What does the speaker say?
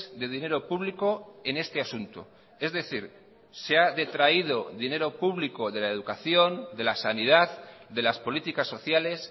de dinero público en este asunto es decir se ha detraído dinero público de la educación de la sanidad de las políticas sociales